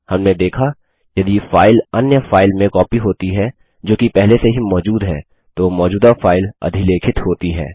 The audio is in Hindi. हमने देखा यदि फाइल अन्य फाइल में कॉपी होती है जो कि पहले से ही मौजूद है तो मौजूदा फाइल अधिलेखित होती है